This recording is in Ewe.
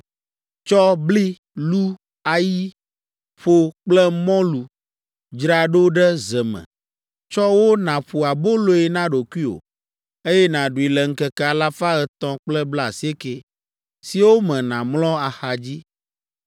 “Tsɔ bli, lu, ayi, ƒo kple mɔlu dzra ɖo ɖe ze me, tsɔ wo nàƒo aboloe na ɖokuiwò, eye nàɖui le ŋkeke alafa etɔ̃ kple blaasieke (390) siwo me nàmlɔ axadzi.